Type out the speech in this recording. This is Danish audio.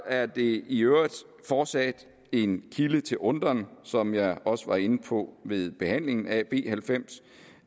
er det i øvrigt fortsat en kilde til undren som jeg også var inde på ved behandlingen af b halvfems